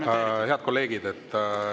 Aitäh, head kolleegid!